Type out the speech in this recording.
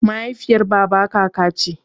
Mahaifiyar baba kaka ce.